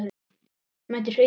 Mætir Huginn?